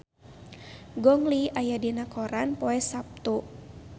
Gong Li aya dina koran poe Saptu